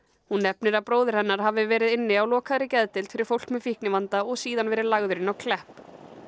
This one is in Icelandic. hún nefnir að bróðir hennar hafi verið inni á lokaðri geðdeild fyrir fólk með fíknivanda og síðan verið lagður inn á Klepp